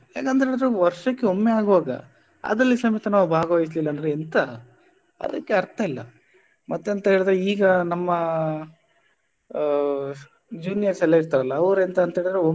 ಯಾಕಂದ್ರೆ ಅದು ವರ್ಷಕ್ಕೆ ಒಮ್ಮೆ ಆಗುವಾಗ ಅದ್ರಲ್ಲಿ ಸಮೇತ ನಾವ್ ಭಾಗವಯಹಿಸ್ಲಿಲ್ಲ ಅಂದ್ರೆ ಎಂತ ಅದಕ್ಕೆ ಅರ್ಥ ಇಲ್ಲ ಮತ್ತೆಂತ ಹೇಳಿದ್ರೆ ಈಗ ನಮ್ಮ ಆ juniors ಎಲ್ಲಇರ್ತರಲ್ಲ ಅವರೇಂತ ಅಂತ ಹೇಳಿದ್ರೆ.